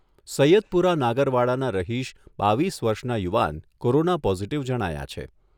સૈયદપુરા નાગરવાડાના રહીશ બાવીસ વર્ષના યુવાન કોરોના પોઝિટિવ જણાયા છે.